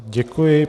Děkuji.